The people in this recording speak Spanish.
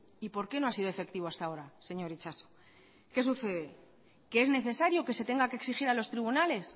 y porqué no ha sido efectivo hasta ahora señor itxaso qué sucede que es necesario que se tenga que exigir a los tribunales